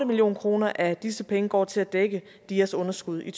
million kroner af disse penge går til at dække dias underskud i